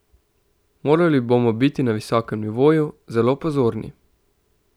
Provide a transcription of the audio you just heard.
Morali bomo biti na visokem nivoju, zelo pozorni.